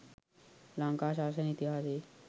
ලංකා ශාසන ඉතිහාසයේ